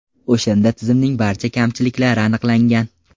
O‘shanda tizimning barcha kamchiliklari aniqlangan.